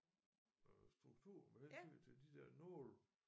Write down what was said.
Øh struktur med hensyn til de der nåle